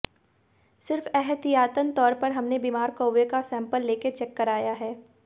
सिर्फ एहतियातन तौर पर हमने बिमार कौवे का सैंपल लेकर चेक कराया है